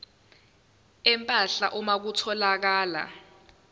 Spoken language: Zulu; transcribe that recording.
empahla uma kutholakala